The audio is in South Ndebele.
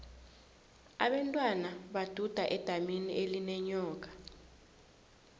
abentwana baduda edamini elinenyoka